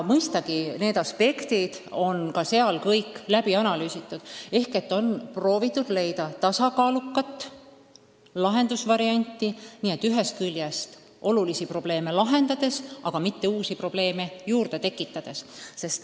Mõistagi on neidki aspekte analüüsitud ja proovitud leida tasakaalus lahendusvarianti, nii et ühest küljest saaks olulised probleemid lahendatud, aga seda mitte uusi probleeme juurde tekitades.